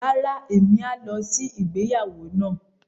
Rárá, emi a lọ sí ìgbéyàwó náà.